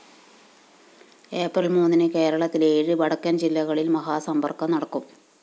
April‍ മൂന്നിന് കേരളത്തിലെ ഏഴ് വടക്കന്‍ ജില്ലകളില്‍ മഹാസമ്പര്‍ക്കം നടക്കും